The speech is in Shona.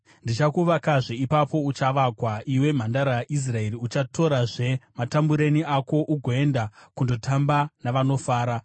Ndichakuvakazve, ipapo uchavakwa, iwe Mhandara Israeri. Uchatorazve matambureni ako ugoenda kundotamba navanofara.